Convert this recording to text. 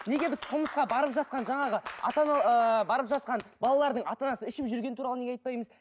неге біз қылмысқа барып жатқан жаңағы ата ана ыыы барып жатқан балалардың ата анасы ішіп жүргені туралы неге айтпаймыз